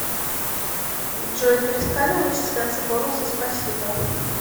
джой перестали начислятся бонусы спасибо